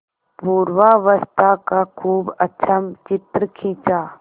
पूर्वावस्था का खूब अच्छा चित्र खींचा